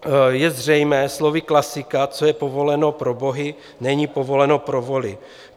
Je zřejmé slovy klasika "co je povoleno pro bohy, není povoleno pro voly".